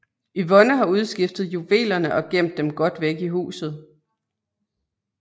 Yvonne har udskiftet juvelerne og gemt dem godt væk i huset